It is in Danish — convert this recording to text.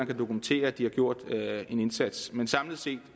kan dokumentere at de har gjort en indsats men samlet set